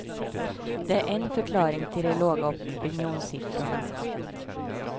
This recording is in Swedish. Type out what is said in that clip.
Det är en förklaring till de låga opinionssiffrorna.